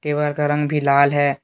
दीवार का रंग भी लाल है।